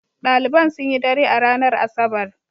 Ɗaliban sun yi dare a ranar Asabar.